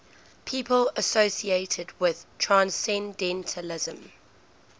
people associated with transcendentalism